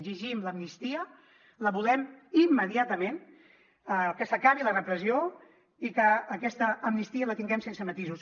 exigim l’amnistia la volem immediatament que s’acabi la repressió i que aquesta amnistia la tinguem sense matisos